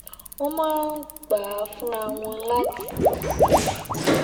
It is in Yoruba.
wón máa ń gbà á fúnra wọn láti